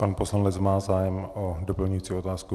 Pan poslanec má zájem o doplňující otázku?